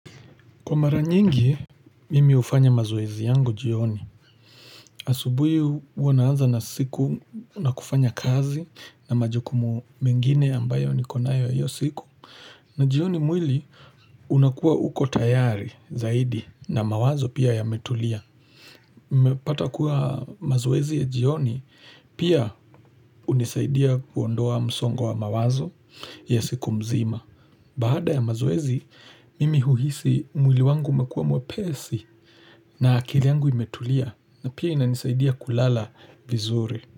Kwa mara nyingi, mimi hufanya mazoezi yangu jioni. Asubui huwa naanza na siku na kufanya kazi na majukumu mengine ambayo nikonayo ya hiyo siku. Na jioni mwili unakuwa uko tayari zaidi na mawazo pia yametulia. Mepata kuwa mazoezi ya jioni pia unisaidia kuondoa msongo wa mawazo ya siku mzima. Baada ya mazoezi, mimi huhisi mwili wangu umekuwa mwepesi na akili yangu imetulia na pia inanisaidia kulala vizuri.